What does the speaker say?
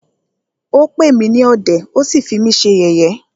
Ó pè mí ní ọ̀dẹ̀,ó sí fí mí ṣe yẹ̀yé.